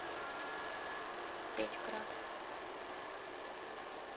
печьград